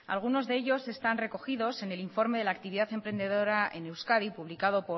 algunos de ellos están recogidos en el informe de la actividad emprendedora en euskadi publicado